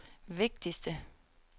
vigtigste